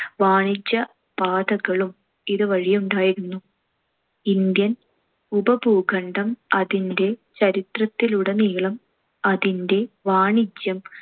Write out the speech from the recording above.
വാണിജ്യപാതകളും ഇതുവഴിയുണ്ടായിരുന്നു. ഇന്ത്യൻ ഉപഭൂഖണ്ഡം അതിന്‍റെ ചരിത്രത്തിലുടനീളം അതിന്‍റെ വാണിജ്യം